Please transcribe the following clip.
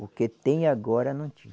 O que tem agora, não tinha.